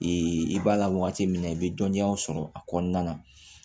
i b'a la wagati min na i bɛ dɔnniyaw sɔrɔ a kɔnɔna na